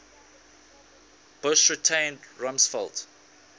bush retained rumsfeld